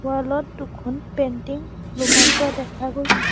Wall ত দুখন painting ওলোমাই থোৱা দেখা গৈছে।